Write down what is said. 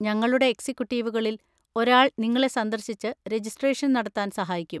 ഞങ്ങളുടെ എക്സിക്യൂട്ടീവുകളിൽ ഒരാൾ നിങ്ങളെ സന്ദർശിച്ച് രജിസ്ട്രേഷൻ നടത്താൻ സഹായിക്കും.